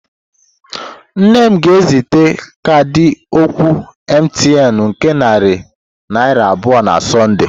Nne m ga-ezite kaadị oku Mtn nke narị naira abụọ na Sọnde.